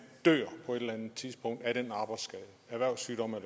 dør på et eller andet tidspunkt af den arbejdsskade erhvervssygdom